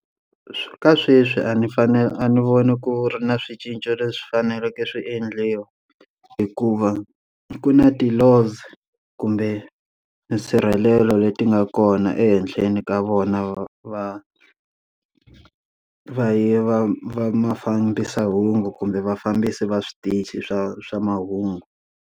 Ka sweswi a ni fane a ni voni ku ri na swi cinca leswi faneleke swi endliwa, hikuva ku na ti-laws kumbe nsirhelelo leti nga kona ehenhleni ka vona va yi vamafambisamahungu kumbe vafambisi va switichi swa swa mahungu.